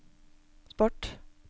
sport